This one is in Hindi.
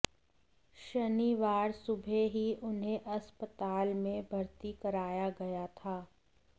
शनिवार सुबह ही उन्हें अस्पताल में भर्ती कराया गया था